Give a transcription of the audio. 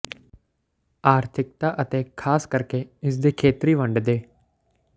ਆਰਥਿਕਤਾ ਅਤੇ ਖਾਸ ਕਰਕੇ ਇਸ ਦੇ ਖੇਤਰੀ ਵੰਡ ਦੇ